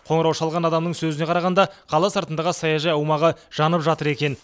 қоңырау шалған адамның сөзіне қарағанда қала сыртындағы саяжай аумағы жанып жатыр екен